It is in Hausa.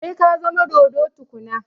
Sai ka zama dodo tukuna